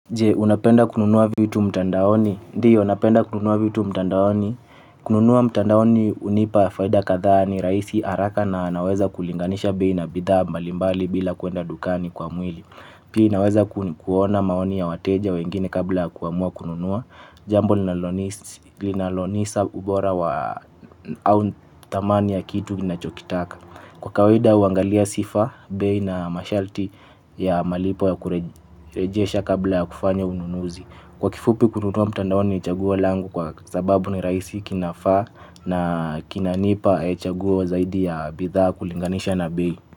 Je, unapenda kununua vitu mtandaoni? Ndiyo, napenda kununua vitu mtandaoni? Kununua mtandaoni hunipa faida kadhaa ni rahisi haraka na naweza kulinganisha bei na bidhaa mbalimbali bila kuenda dukani kwa mwili. Pia naweza kuona maoni ya wateja wengine kabla ya kuamua kununua. Jambo linalonipa ubora wa au dhamani ya kitu ninachokitaka. Kwa kawaida, huangalia sifa, bei na masharti ya malipo ya kurejesha kabla ya kufanya ununuzi. Kwa kifupi, kununua mtandaoni ni chaguo langu kwa sababu ni rahisi kinafaa na kinanipa chaguo zaidi ya bidhaa kulinganisha na bei.